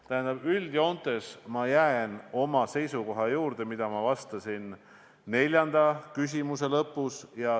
Tähendab, üldjoontes ma jään selle seisukoha juurde, nagu ma vastasin neljanda küsimuse lõpus.